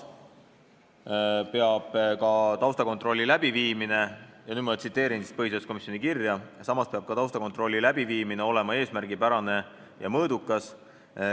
Nüüd ma tsiteerin põhiseaduskomisjoni kirja: "Samas peab ka taustakontrolli läbiviimine olema eesmärgipärane ja mõõdukas.